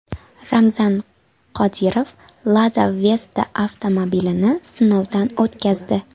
Ramzan Qodirov Lada Vesta avtomobilini sinovdan o‘tkazdi.